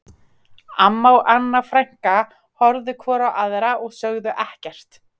Amma og Anna frænka horfðu hvor á aðra og sögðu ekkert